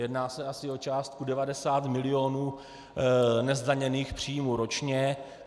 Jedná se asi o částku 90 mil. nezdaněných příjmů ročně.